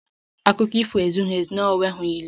Akụkọ ifo ezughị ezu n'enweghị ilu